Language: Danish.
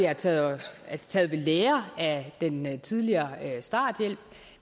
har taget ved lære af den tidligere starthjælp